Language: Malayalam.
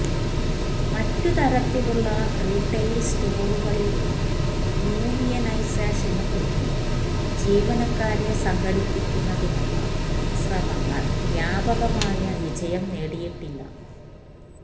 മറ്റ് തരത്തിലുള്ള റീട്ടെയിൽ സ്റ്റോറുകളിൽ യൂണിയനൈസേഷനു പിന്നിൽ ജീവനക്കാരെ സംഘടിപ്പിക്കുന്നതിനുള്ള ശ്രമങ്ങൾ വ്യാപകമായ വിജയം നേടിയിട്ടില്ല